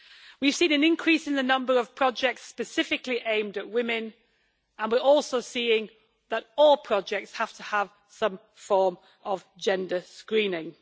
We have seen an increase in the number of projects specifically aimed at women, and we are also seeing that all projects have to have some form of gender screening.